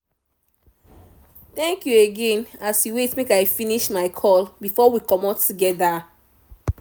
thank you again as you wait make i finish my call before we comot together